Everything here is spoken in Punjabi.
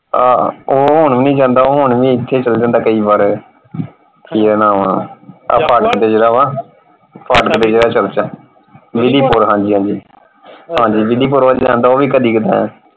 ਆਹ ਉਹ ਹੁਣ ਵੀ ਨਹੀਂ ਜਾਂਦਾ ਹੁਣ ਵੀ ਇਥੇ ਚੱਲ ਜਾਂਦਾ ਕਈ ਵਾਰ ਕਿ ਇਹਦਾ ਨਾਂ ਵਾਂ। ਆਹ ਫਾਟਕ ਤੇ ਜਿਹੜਾ ਵਾ ਫਾਟਕ ਤੇ ਜਿਹੜਾ ਚਰਚ ਆ ਵਿਧੀਪੂਰ ਹਾਂਜੀ ਹਾਂਜੀ ਵਿਧੀਪੂਰ ਵੱਲ ਜਾਂਦਾ ਹੈ ਉਹ ਵੀ ਕਦੇ ਕਦਾਰ।